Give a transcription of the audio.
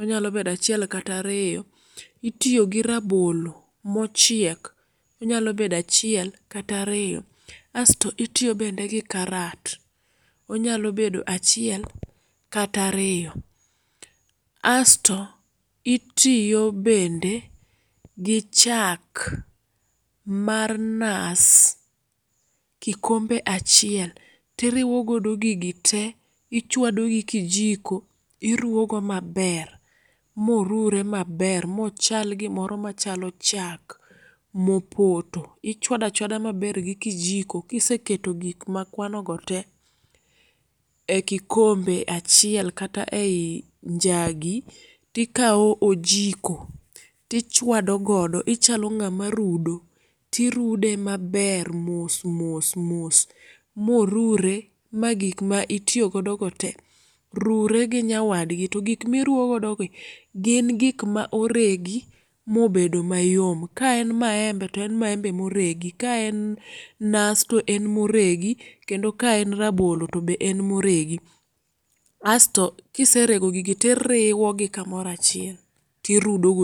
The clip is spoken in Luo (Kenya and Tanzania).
onyalo bedo achiel kata riyo. Itiyogi rabolo mochiek onyalo bedo achiel kata riyo, Asto itiyo bende gi karat onyalo bedo achiel kata ariyo. Asto itiyo bende gi chak mar nas kikombe achiel tiriwo godo gigi te ichwadogi kijiko iruogo maber morure maber mochal gimore machalo chak mopoto. Ichwado achwada maber gi kijiko kiseketo gik makwanogo te e kikombe achiel kata eyi njagi tikawo ojiko tichwado godo ichalo ng'ama rudo tirude maber mos mos mos morure magik ma itiyo godogote rure gi nyawadgi to gik miruo godogi gin gik ma oregi mobedo mayom. Kaen maembe to en maembe moregi, kaen nas to en moregi kendo kaen rabolo tobe en moregi. Asto kiserego gigi tiriwogi kamoro achiel tirudo go